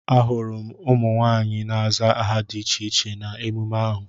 Ahụrụ m ụmụ nwaanyị na-aza aha dị iche iche na emume ahụ.